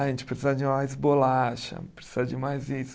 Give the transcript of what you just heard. A gente precisa de mais bolacha, precisa de mais isso.